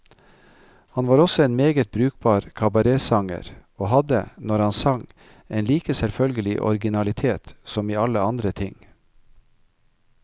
Han var også en meget brukbar kabaretsanger, og hadde, når han sang, en like selvfølgelig originalitet som i alle andre ting.